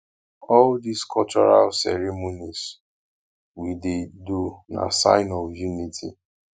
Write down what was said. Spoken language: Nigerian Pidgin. all dese cultural ceremonies we dey do na sign of unity